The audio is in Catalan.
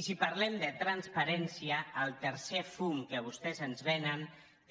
i si parlem de transparència el tercer fum que vostès ens venen